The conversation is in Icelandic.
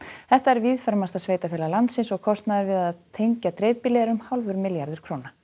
þetta er víðfeðmasta sveitarfélag landsins og kostnaður við að tengja dreifbýlið er um hálfur milljarður